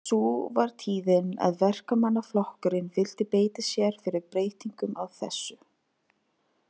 Sú var tíðin að Verkamannaflokkurinn vildi beita sér fyrir breytingum á þessu.